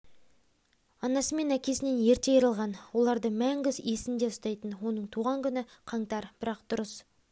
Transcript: анасы мен әкесінен ерте айырылған оларды мәңгі есінде ұстайтын оның туған күні қаңтар бірақ дұрыс